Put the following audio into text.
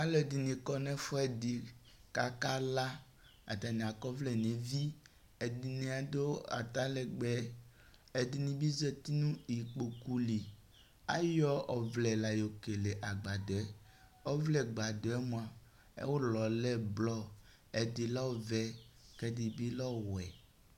aluɛ ɛdini ku nu ɛfuɛ ɖi ku Aka lã atania ku vlɛ nu evi ɛdinia adu ata lɛgbɛ edini bi zati nu ikpoku li ayɔ ɔvlɛ la lã yo kele agbadɔɛ ɔvlɛ buadu yɛ mua ulɔ lɛ blɔn ɛdi lɛ ɔvɛ ku ɛdi bi lɛ ɔwɛ